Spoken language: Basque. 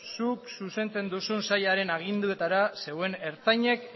zuk zuzentzen duzun sailaren aginduetara zeuen ertzainek